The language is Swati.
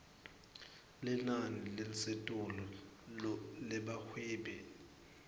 linani lelisetulu lebahwebi